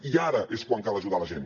i ara és quan cal ajudar la gent